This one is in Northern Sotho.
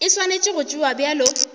e swanetše go tšewa bjalo